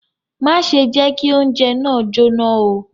Má ṣe jẹ kí oúnjẹ náà jóná o!